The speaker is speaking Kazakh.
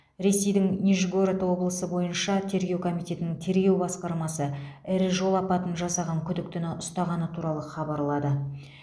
ресейдің нижегород облысы бойынша тергеу комитетінің тергеу басқармасы ірі жол апатын жасаған күдіктіні ұстағаны туралы хабарлады